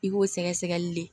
I b'o sɛgɛsɛgɛli le